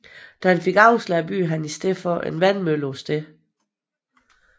Da han fik afslag byggede han i stedet en vandmølle på stedet